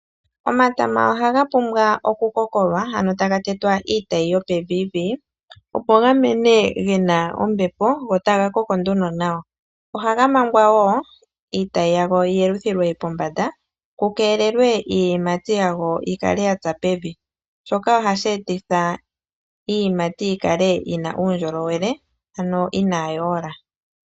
Omatama ohaga pumbwa okukokolwa, ano taga tetwa iitayi yopeviivii, opo ga mene ge na ombepo go taga koko nduno nawa. Ohaga mangwa wo iitayi yago yi yeluthilwe pombanda ku keelelwe iiyimati yago yi kale ya tsa pevi, shoka ohashi etitha iiyimati yago yi kale yi na uundjolowele, ano inaayi ola.